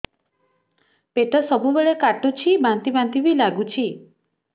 ପେଟ ସବୁବେଳେ କାଟୁଚି ବାନ୍ତି ବାନ୍ତି ବି ଲାଗୁଛି